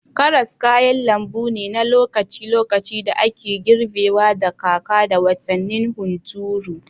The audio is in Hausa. Karas kayan lambu ne na lokaci-lokaci da ake girbewa da kaka da watannin hunturu.